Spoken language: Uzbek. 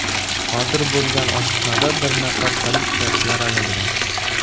Sodir bo‘lgan otishmada bir nafar politsiyachi yaralangan.